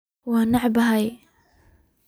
Wan ceebobe.